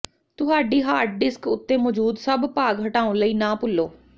ਤੁਹਾਡੀ hard disk ਉੱਤੇ ਮੌਜੂਦ ਸਭ ਭਾਗ ਹਟਾਉਣ ਲਈ ਨਾ ਭੁੱਲੋ